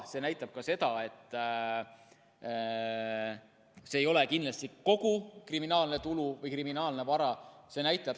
See näitab ka seda, et see ei ole kindlasti kogu kriminaalne tulu või kriminaalne vara.